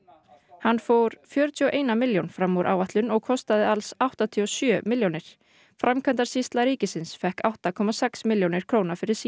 hann fór fjörutíu og eina milljón fram úr áætlun og kostaði alls áttatíu og sjö milljónir framkvæmdasýsla ríkisins fékk átta komma sex milljónir króna fyrir sína